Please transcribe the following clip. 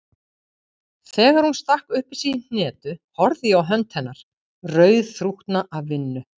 Þegar hún stakk upp í sig hnetu horfði ég á hönd hennar, rauðþrútna af vinnu.